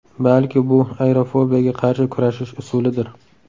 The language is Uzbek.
Balki bu aerofobiyaga qarshi kurashish usulidir?